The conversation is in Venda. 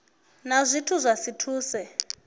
na zwine zwa si thuse